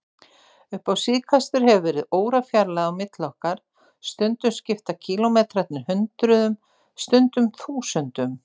Upp á síðkastið hefur verið órafjarlægð á milli okkar, stundum skipta kílómetrarnir hundruðum, stundum þúsundum.